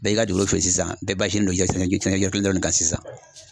Bɛɛ ka feere sisan bɛ kan sisan